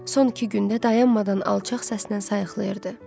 Son iki gündə dayanmadan alçaq səslə sayıqlayırdı.